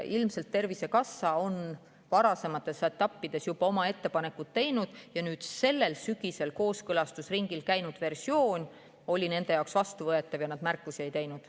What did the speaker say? Ilmselt on Tervisekassa varasemates etappides juba oma ettepanekud teinud, sellel sügisel kooskõlastusringil käinud versioon oli nende jaoks vastuvõetav ja nad märkusi ei teinud.